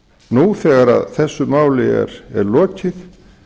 nú þegar þessu máli er lokið